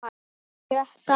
Sjötta hæð.